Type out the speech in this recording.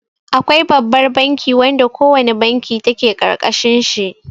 Akwai Babbar banki wanda ko wane banki take ƙarƙashin shi.